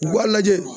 U b'a lajɛ